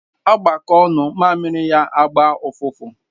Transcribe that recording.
Agbakọ ṅụọ mmamiri ya gba ụfụfụ.